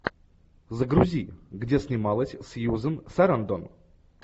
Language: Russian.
загрузи где снималась сьюзен сарандон